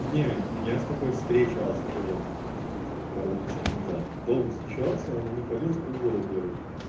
не я с такой встречался до этого пару месяцев назад долго встречался она не палилась полгода первых